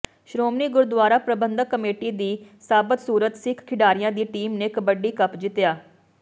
Shiromani Gurdwara Parbandhak committee ਦੀ ਸਾਬਤਸੂਰਤ ਸਿੱਖ ਖਿਡਾਰੀਆਂ ਦੀ ਟੀਮ ਨੇ ਕਬੱਡੀ ਕੱਪ ਜਿੱਤਿਆ